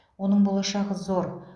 оның болашағы зор